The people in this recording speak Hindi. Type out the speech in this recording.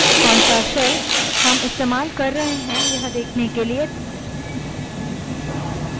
कौनto shell हम इस्तेमाल कर रहे हैं यह देखने के लिए